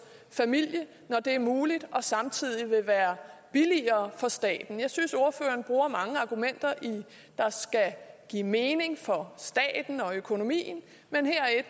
familie når det er muligt og det samtidig vil være billigere for staten jeg synes ordføreren bruger mange argumenter der skal give mening for staten og økonomien men her